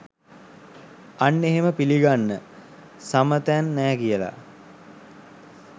අන්න එහෙම පිලිගන්න සමතෑන් නෑ කියල